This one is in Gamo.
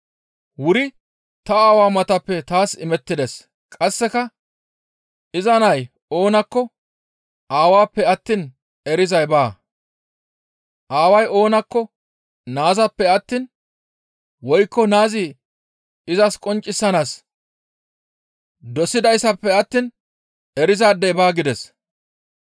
«Wuri ta Aawaa matappe taas imettides; qasseka iza nay oonakko Aawappe attiin erizay baa; Aaway oonakko Naazappe attiin woykko Naazi izas qonccisanaas dosidaadefe attiin erizaadey baa» gides.